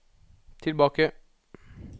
tilbake